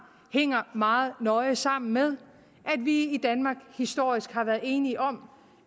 hænger meget nøje sammen med at vi i danmark historisk har været enige om